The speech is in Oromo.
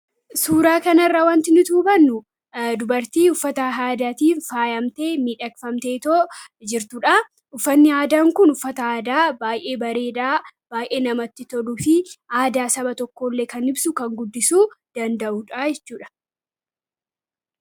Suura kana irratti wanti arginu dubartii uffata aadaatiin faayamtee jirtudha. Uffanni aadaa Kun uffata baay'ee miidhagaa ta'eef fi aadaa saba tokkoo kan ibsudha.